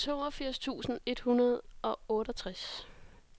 toogfirs tusind et hundrede og otteogtres